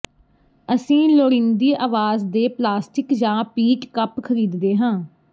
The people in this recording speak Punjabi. ਅਸੀਂ ਲੋੜੀਂਦੀ ਆਵਾਜ਼ ਦੇ ਪਲਾਸਟਿਕ ਜਾਂ ਪੀਟ ਕੱਪ ਖਰੀਦਦੇ ਹਾਂ